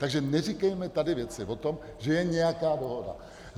Takže neříkejme tady věci o tom, že je nějaká dohoda.